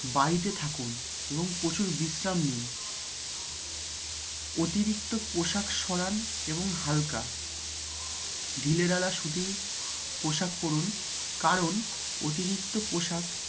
বাড়িতে থাকুন এবং প্রচুর বিশ্রাম নিন। অতিরিক্ত পোশাক সরান এবং হালকা, ঢিলেঢালা সুতির পোশাক পরুন কারণ